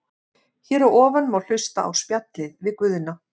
Hér að ofan má hlusta á spjallið við Guðna.